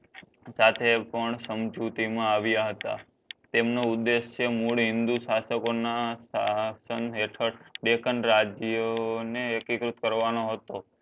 સાથે પણ સમજૂતી મા આવ્યા હતા તેમનો ઉદ્દેશ છે મૂળ હિન્દુ શાસ્ત્ર ના સાહસન હેઠડ ડેકન રાજ્ય ને એકીકૃત કરવાનો હતો